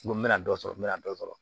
N mɛna dɔ sɔrɔ n mɛna dɔ sɔrɔ